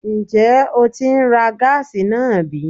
Ǹjẹ́ o tí ń ra gáàsì náà bí?